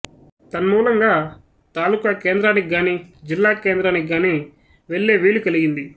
తన్మూలంగా తాలూకా కేంద్రానికి గాని జిల్లా కేంద్రానికి గాని వెళ్ళే వీలు కలిగింది